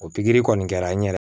O pikiri kɔni kɛra n yɛrɛ